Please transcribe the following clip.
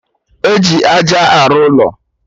Eji aja arụ ụlọ